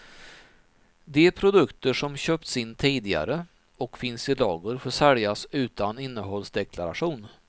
De produkter som köpts in tidigare och finns i lager får säljas utan innehållsdeklaration.